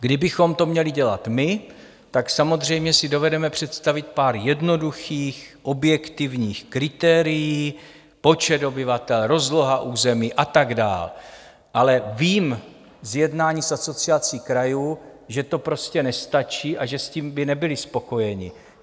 Kdybychom to měli dělat my, tak samozřejmě si dovedeme představit pár jednoduchých objektivních kritérií - počet obyvatel, rozloha území a tak dál, ale vím z jednání s Asociací krajů, že to prostě nestačí a že s tím by nebyli spokojeni.